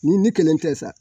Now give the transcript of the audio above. Ni ni kelen tɛ sa